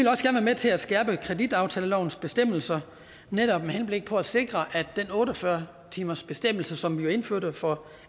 vil til at skærpe kreditaftalelovens bestemmelser med henblik på at sikre at den otte og fyrre timersbestemmelse som vi jo indførte for